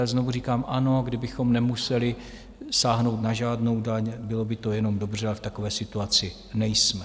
Ale znovu říkám, ano, kdybychom nemuseli sáhnout na žádnou daň, bylo by to jenom dobře, ale v takové situaci nejsme.